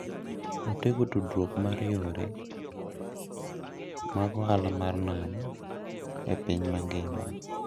Otego tudruok mar yore mag ohala mar nam e piny mangima.